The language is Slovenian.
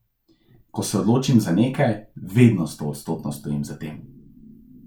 Ko se odločim za nekaj, vedno stoodstotno stojim za tem.